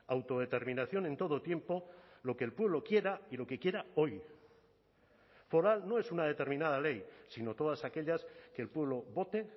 autodeterminación en todo tiempo lo que el pueblo quiera y lo que quiera hoy foral no es una determinada ley sino todas aquellas que el pueblo vote